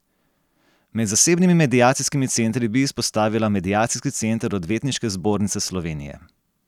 Med zasebnimi mediacijskimi centri bi izpostavila Mediacijski center Odvetniške zbornice Slovenije.